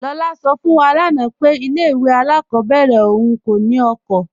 Lọla sọ fún wá lánà pé ilẹ̀ ìwé alákọbèrè ọ̀un kò ní oko.